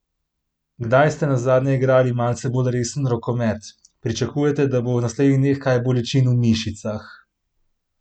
Kdaj ste nazadnje igrali malce bolj resen rokomet, pričakujete, da bo v naslednjih dneh kaj bolečin v mišicah?